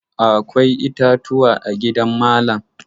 Akwai itatuwa a gidan malam.